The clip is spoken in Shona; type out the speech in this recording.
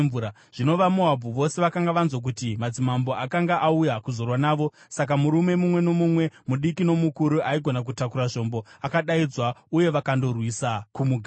Zvino vaMoabhu vose vakanga vanzwa kuti madzimambo akanga auya kuzorwa navo; saka murume mumwe nomumwe, mudiki nomukuru, aigona kutakura zvombo akadaidzwa uye vakandogariswa kumuganhu.